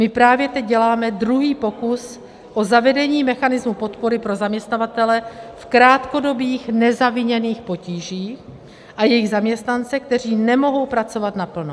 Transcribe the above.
My právě teď děláme druhý pokus o zavedení mechanismu podpory pro zaměstnavatele v krátkodobých nezaviněných potížích a jejich zaměstnance, kteří nemohou pracovat naplno.